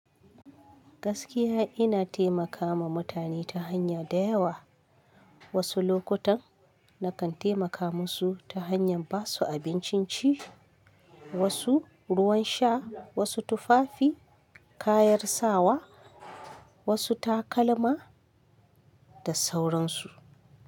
Gaskiya ina taimakama mutane ta hanya da yawa. Wasu lokutan na kan taimaka musu ta hanyar ba su abincin ci, wasu ruwan sha, wasu tufafi, kayan sawa, wasu takalma da sauransu.